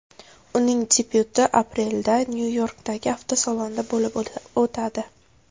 Uning debyuti aprelda Nyu-Yorkdagi avtosalonda bo‘lib o‘tadi.